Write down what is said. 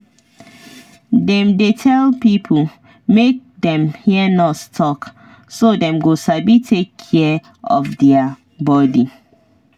dem dey tell pipo make dem hear nurse talk so dem go sabi take care of their body.